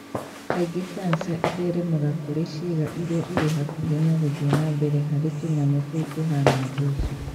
Kaingĩ kanja ĩtheremaga kũrĩ ciĩga iria irĩ hakuhĩ na guthii nambere harĩ tunyamũ tũu tuhana mboco